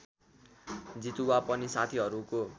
जितुवा पनि साथीहरूको